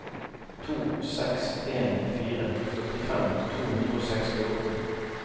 to seks en fire førtifem to hundre og sekstiåtte